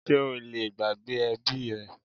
Sé o lè gbàgbé ẹbí rẹ?